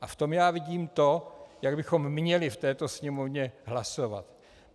A v tom já vidím to, jak bychom měli v této Sněmovně hlasovat.